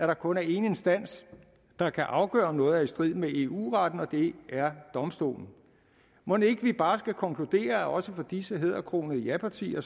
der kun er en instans der kan afgøre om noget er i strid med eu retten og det er domstolen mon ikke vi bare skal konkludere at også for disse hæderkronede japartier